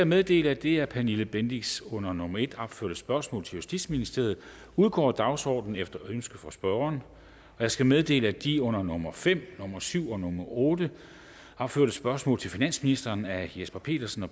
meddele at det af pernille bendixen under nummer en opførte spørgsmål til justitsministeren udgår af dagsordenen efter ønske fra spørgeren jeg skal meddele at de under nummer fem nummer syv og nummer otte opførte spørgsmål til finansministeren af jesper petersen og